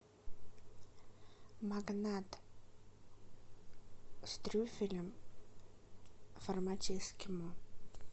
магнат с трюфелем в формате эскимо